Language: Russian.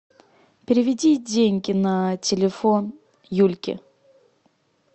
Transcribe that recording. переведи деньги на телефон юльке